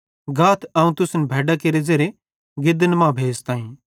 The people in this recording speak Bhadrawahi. गाथ अवं तुसन भैड्डां केरे ज़ेरे गिदन मां भेज़ताईं